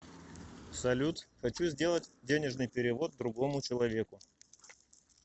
салют хочу сделать денежный перевод другому человеку